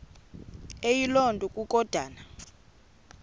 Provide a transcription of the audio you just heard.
eyiloo nto kukodana